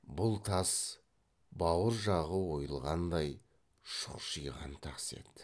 бұл тас бауыр жағы ойылғандай шұқшиған тас еді